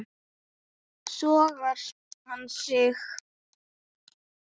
Sogar hann í sig.